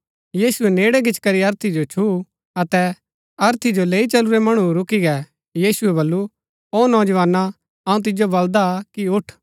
यीशुऐ नेड़ै गिचीकरी अर्थी जो छुऊँ अतै अर्थी जो लैई चलुरै मणु रूकी गै यीशुऐ बल्लू औ नौजवाना अऊँ तिजो बल्‍दा कि उठ